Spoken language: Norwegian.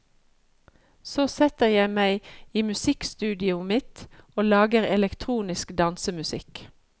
Så setter jeg meg i musikkstudioet mitt og lager elektronisk dansemusikk.